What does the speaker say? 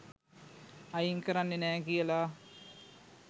අයින්කරන්නෙ නෑ කියල.